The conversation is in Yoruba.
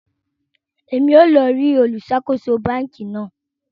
Èmí yóò lọ rí olu ṣàkóso bánkì náà